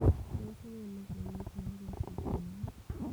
Tos nee negonuu Tylosis negonuu siryaat?